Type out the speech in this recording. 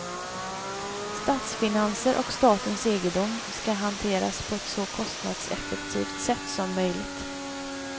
Statsfinanser och statens egendom ska hanteras på ett så kostnadseffektivt sätt som möjligt.